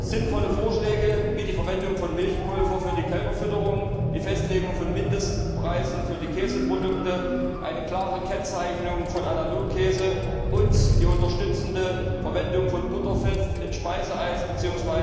Sinnvolle Vorschläge wie die Verwendung von Milchpulver für die Kälberfütterung, die Festlegung von Mindestpreisen für Käseprodukte, eine klare Kennzeichnung von Analogkäse und die unterstützende Verwendung von Butterfett in Speiseeis bzw.